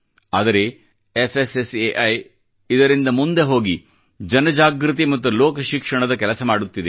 ಆದರೆ ಫ್ಸ್ಸೈ ಇದರಿಂದ ಮುಂದಕ್ಕೆ ಹೋಗಿ ಜನ ಜಾಗೃತಿ ಮತ್ತು ಲೋಕ ಶಿಕ್ಷಣದ ಕೆಲಸ ಮಾಡುತ್ತಿದೆ